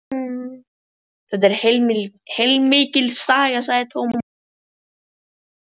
Þetta var heilmikil saga, sagði Tómas loksins og dró seiminn.